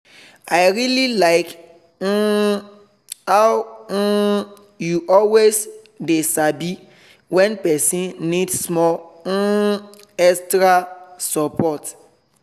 i really like um how um you always dey sabi when person need small um extra support.